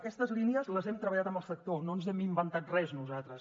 aquestes línies les hem treballat amb el sector no ens hem inventat res nosaltres